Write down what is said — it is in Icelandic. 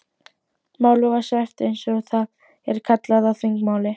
Málið var svæft eins og það er kallað á þingmáli.